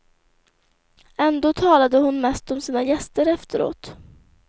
Ändå talade hon mest om sina gäster efteråt.